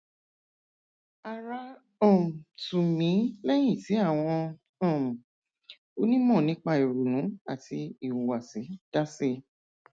ara um tù mí lẹyìn tí àwọn um onímọ nípa ìrònú àti ìhùwàsí dá sí i